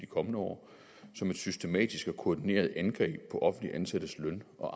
kommende år som et systematisk og koordineret angreb på offentligt ansattes løn og